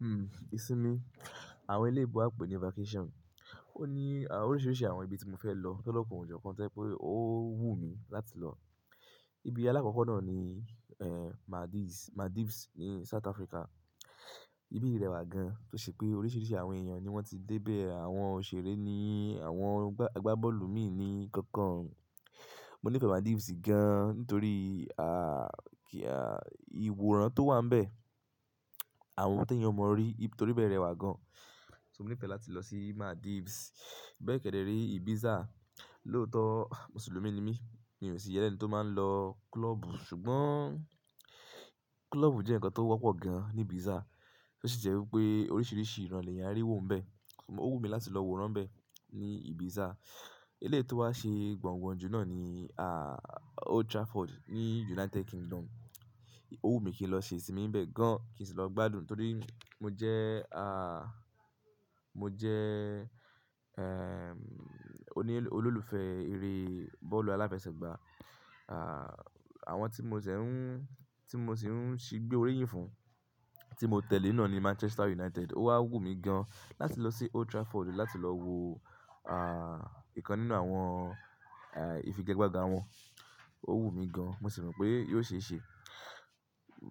Hmm, ìsinmi. Àwọn ilé ibú a pè ní vacation. Ó ní oríṣiiríṣii àwọn ibi tí mo fẹ́ lọ, lọ́lọ́kan o jo kan to jẹ́ pé ó wù mí láti lọ. Ibi alákokọ̀ náà ni, Maldives, Maldives ní South Africa. Ibi rẹwà gan, tó ṣe pé oríṣiiríṣii àwọn èèyàn ni wọ́n ti dé bẹ́ẹ̀, àwọn òṣèré ni, àwọn agbábọ́ọ̀lù mi ni nnkankan. Mo nífẹ̀ẹ́ Maldives gan, nítorí, ìwòran tó wà n bẹ̀. Àwọn ti eeyan ọ mọ rí, torí ibẹ́ rẹwà gan. So mo nífẹ̀ẹ́ láti lọ sí Maldives. Bẹ́ẹ̀ kẹ̀dẹ̀ re Ibiza. Lóòótọ́ Mùsùlùmí ni mí, mi ò sì yẹ́ lẹ̀ ni tó máa ń lọ klọ́ọ̀bù, ṣùgbọ́n klọ́ọ̀bù jẹ́ ǹnkan tó wọ́pọ̀ gan ní Ibiza. Ó sì jẹ́ wípé oríṣiiríṣii ìràn lèèyàn n rí wòó n bẹ̀. O wù mí láti lọ wóran bẹ̀ ní Ibiza. Eléyii tó wá ṣe gbangba jù náà ni, Old Trafford ní United Kingdom. Ó wù mí kí n lọ ṣe ìsinmi n bẹ̀ gan, kí n sì lọ gbádùn, torí mo jẹ́, mo jẹ́, oní, olólùfẹ́ eré bọ́ọ̀lù aláfẹsẹ̀gbá. Àwọn tí mo ṣẹ̀ ń, tí mo ṣì ń ṣí gbé oríyìn fún, tí mo tẹ̀lé náa ni Manchester United. Ó wá wù mí gan láti lọ sí Old Trafford láti lọ wo, ìkan nínú àwọn, ìfigagbága wọn. Ó wù mí gan, mo sì mọ̀ pé yóò ṣe é ṣe.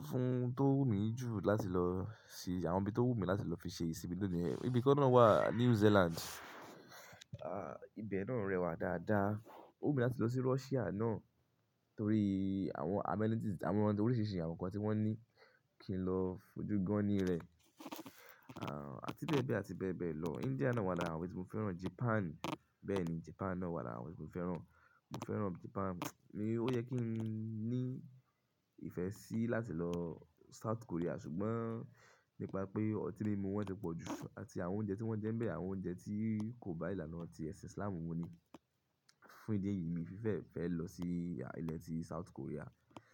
Fún tó wù mí jù láti lọ se àwọn ibi tó wù mí láti lọ fi ṣe ìsinmi náà niyen, ibi kan náà wà New Zealand. Ibe náà rẹwà dáadáa. Ó wù mí láti lọ sí Russia náà, torí àwọn amenities, àwọn oríṣiiríṣii àwọn ǹnkan tí wọ́n ní kí n lọ fojú gan ni rẹ̀. Àti bẹ́ẹ̀ bẹ́ẹ̀, àti bẹ́ẹ̀ bẹ́ẹ̀ lọ. India náà wà lára àwọn ibi tí mo fẹ́ràn. Japan, bẹ́ẹ̀ ni Japan náà wà lára àwọn ibi tí mo fẹ́ràn. Mo fẹ́ràn Japan. Mi ò yẹ kí n ní ìfẹ́ sí láti lọ South Korea, ṣùgbọ́n nípa pé ọtí mímu wọn tẹ́ pọ̀ jù àti àwọn oúnjẹ tí wọ́n jẹ́ ń bẹ̀ àwọn oúnjẹ tí kò bá ìlànà ti ẹ̀sìn Islamu mu ni. Fún ìdí èyí mi n fi bẹ́, fẹ́ lọ sí ilẹ̀ ti South Korea.